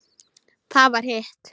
Það var hitt.